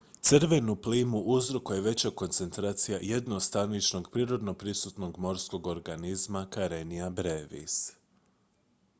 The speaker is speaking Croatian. crvenu plimu uzrokuje veća koncentracija jednostaničnog prirodno prisutnog morskog organizma karenia brevis